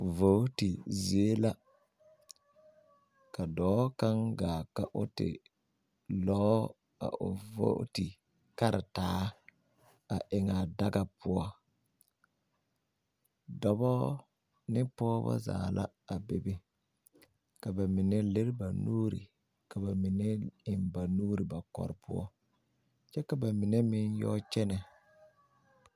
Vooti zie la ka dɔɔ kaŋ ɡaa ka o te lɔɔ a o vooti karataa a eŋ a daɡa poɔ dɔbɔ ne pɔɡeba zaa la a bebe ka ba mine lere ba nuuri ka ba mine eŋ ba nuuri ba kɔrɔ poɔ kyɛ ka ba mine meŋ yɔ kyɛnɛ.